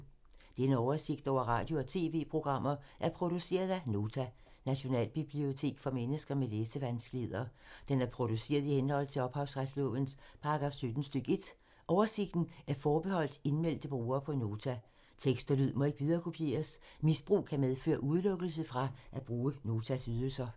Denne oversigt over radio og TV-programmer er produceret af Nota, Nationalbibliotek for mennesker med læsevanskeligheder. Den er produceret i henhold til ophavsretslovens paragraf 17 stk. 1. Oversigten er forbeholdt indmeldte brugere på Nota. Tekst og lyd må ikke viderekopieres. Misbrug kan medføre udelukkelse fra at bruge Notas ydelser.